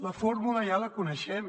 la fórmula ja la coneixem